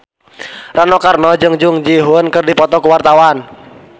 Rano Karno jeung Jung Ji Hoon keur dipoto ku wartawan